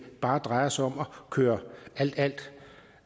bare drejer sig om at køre alt alt